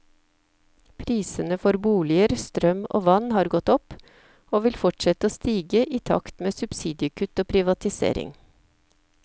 Prisene for boliger, strøm og vann har gått opp, og vil fortsette å stige i takt med subsidiekutt og privatisering.